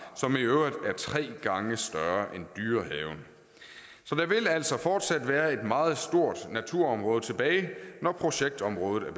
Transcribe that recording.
som i øvrigt er tre gange større end dyrehaven så der vil altså fortsat være et meget stort naturområde tilbage når projektområdet er